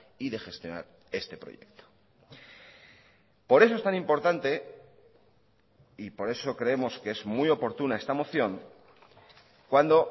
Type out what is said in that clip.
y de gestionar este proyecto por eso es tan importante y por eso creemos que es muy oportuna esta moción cuando